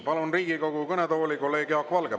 Palun Riigikogu kõnetooli kolleeg Jaak Valge.